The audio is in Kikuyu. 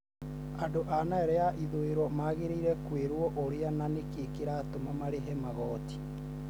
andũ a Nile ya ithũĩro magĩrĩirwo kũĩrwo ũrĩa na nĩkĩĩ kĩratũma marĩhe magoti